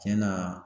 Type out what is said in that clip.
Tiɲɛ na